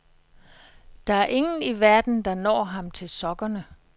Der er ingen i verden, der når ham til sokkerne.